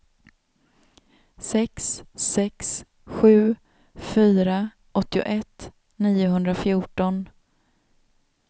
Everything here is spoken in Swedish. sex sex sju fyra åttioett niohundrafjorton